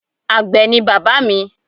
Àgbẹ̀ ni bàbá mi